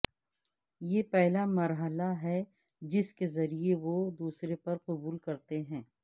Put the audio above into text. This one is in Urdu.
یہ پہلا مرحلہ ہے جس کے ذریعے وہ دوسرے پر قبول کرتے ہیں